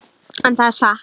En það er satt.